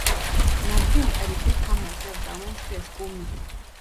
na drink i dey take calm mysef down wen stress hol me